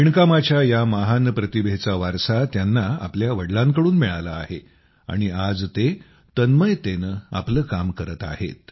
विणकामाच्या या महान प्रतिभेचा वारसा त्यांना आपल्या वडिलांकडून मिळाला आहे आणि आज ते तन्मयतेने आपले काम करत आहेत